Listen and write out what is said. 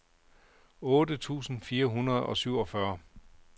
otte tusind fire hundrede og syvogfyrre